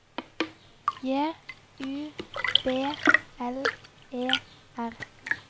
J U B L E R